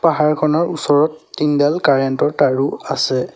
পাহাৰখনৰ ওচৰত তিনডাল কেৰেণ্ট ৰ তাঁৰো আছে।